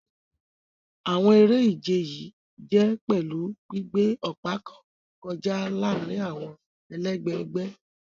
Àwọn eré-ìje yìí jè pèlú gbígbé òpa kàn kọjá láàrin àwọn ẹlègbé ègbé.